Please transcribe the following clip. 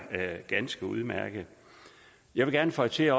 ganske udmærket jeg vil gerne føje til